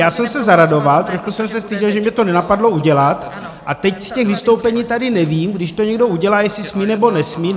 Já jsem se zaradoval, trošku jsem se styděl, že mě to nenapadlo udělat, a teď z těch vystoupení tady nevím, když to někdo udělá, jestli smí, nebo nesmí.